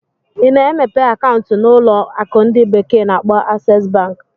Ị na-emepe akaụntụ na ụlọ akụ ndi bekee na-akpo Aksesu Banki?